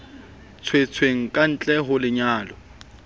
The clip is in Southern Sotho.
tswetsweng ka ntle ho lenyalo